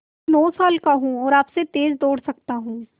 मैं नौ साल का हूँ और आपसे तेज़ दौड़ सकता हूँ